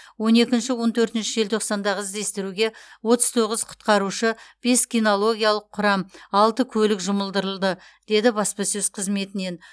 он екінші он төртінші желтоқсандағы іздестіруге отыз тоғыз құтқарушы бес кинологиялық құрам алты көлік жұмылдырылды деді баспасөз қызметінен